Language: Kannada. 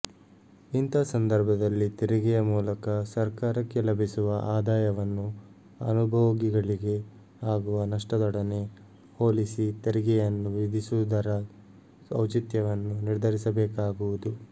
ಇಂಥ ಸಂದರ್ಭದಲ್ಲಿ ತೆರಿಗೆಯ ಮೂಲಕ ಸರ್ಕಾರಕ್ಕೆ ಲಭಿಸುವ ಆದಾಯವನ್ನು ಅನುಭೋಗಿಗಳಿಗೆ ಆಗುವ ನಷ್ಟದೊಡನೆ ಹೋಲಿಸಿ ತೆರಿಗೆಯನ್ನು ವಿಧಿಸುವುದರ ಔಚಿತ್ಯವನ್ನು ನಿರ್ಧರಿಸಬೇಕಾಗುವುದು